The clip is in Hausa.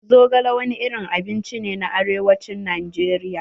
Zogale wani irin abinci ne a arewacin Najeriya.